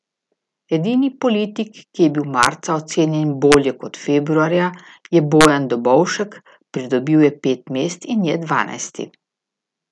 Edini politik, ki je bil marca ocenjen bolje kot februarja, je Bojan Dobovšek, pridobil je pet mest in je dvanajsti.